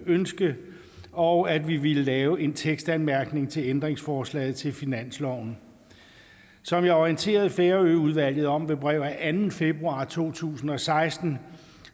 ønske og at vi ville lave en tekstanmærkning til ændringsforslaget til finansloven som jeg orienterede færøudvalget om ved brev af anden februar to tusind og seksten